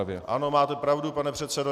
Ano, máte pravdu, pane předsedo.